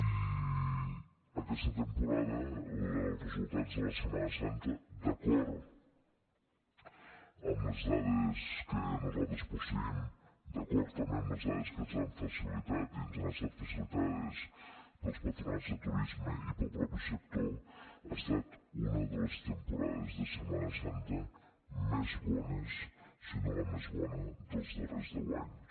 i aquesta temporada pels resultats de la setmana santa d’acord amb les dades que nosaltres posseïm d’acord també amb les dades que ens han facilitat i ens han estat facilitades pels patronats de turisme i pel mateix sector ha estat una de les temporades de setmana santa més bones si no la més bona dels darrers deu anys